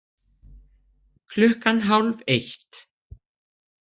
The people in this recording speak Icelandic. Klukkan hálf eitt